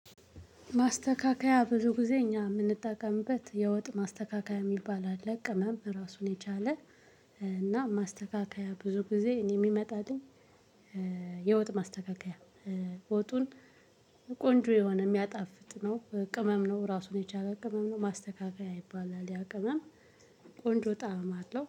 ማስተካከያ ብዙ ጊዜ እኛ የምንጠቀምበት የወጥ ማስተካከያ የሚባል አለ ቅመም ራሱን የቻለ። እና ማስተካከያ ብዙ ጊዜ እኔ የሚመጣው። የወጥ ማስተካከያ። ወጡን ቆንጆ የሆነ የሚያጣፍጥ ነው። ቅመም ነው ራሱን የቻለ ቅመም ነው። ማስተካከያ ይባላል ያ ቅመም። ቆንጆ ጣዕም አለው